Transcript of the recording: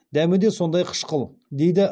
дәмі де сондай қышқыл дейді